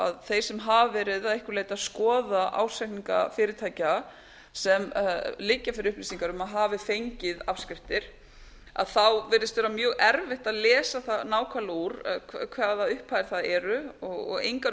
að þeir sem hafa verið að einhverju leyti að skoða ársreikninga fyrirtækja sem liggja fyrir upplýsingar um að hafi fengið afskriftir að þá virðist vera mjög erfitt að lesa það nákvæmlega úr hvaða upphæðir það eru og engar